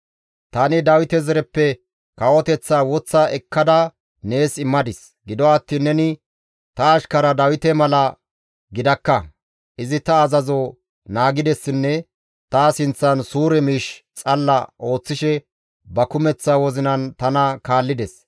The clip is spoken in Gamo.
Tani Dawite zareppe kawoteththaa woththa ekkada nees immadis; gido attiin neni ta ashkara Dawite mala gidakka; izi ta azazo naagidessinne ta sinththan suure miish xalla ooththishe ba kumeththa wozinan tana kaallides.